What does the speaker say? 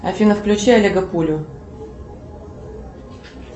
афина включи олега пулю